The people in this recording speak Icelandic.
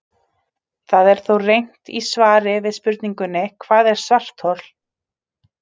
Það er þó reynt í svari við spurningunni Hvað er svarthol?